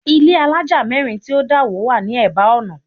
Ilé àlája mẹ́rin tí ó dà wó wá ní eba ọ̀nà